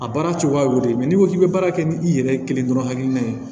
A baara cogoya o de k'i bɛ baara kɛ ni i yɛrɛ kelen dɔrɔn hakilina ye